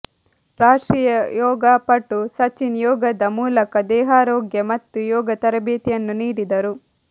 ರಾಷ್ಟ್ರೀಯ ಯೋಗಾ ಪಟು ಸಚಿನ್ ಯೋಗದ ಮೂಲಕ ದೇಹಾರೋಗ್ಯ ಮತ್ತು ಯೋಗ ತರಬೇತಿಯನ್ನು ನೀಡಿದರು